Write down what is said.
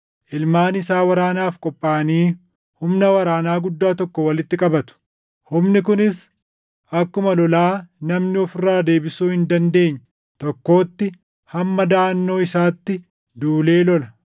Ilmaan isaa waraanaaf qophaaʼanii humna waraanaa guddaa tokko walitti qabatu; humni kunis akkuma lolaa namni of irraa deebisuu hin dandeenye tokkootti hamma daʼannoo isaatti duulee lola.